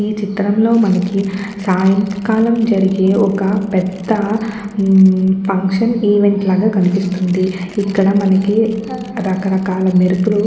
ఈ చిత్రం లో మనకి సాయంకాలం జరిగే ఒక పెద్ద ఫంక్షన్ ఈవెంట్ లాగా కనిపిస్తుంది ఇక్కడ మనకి రకరకాల మెరుపులు.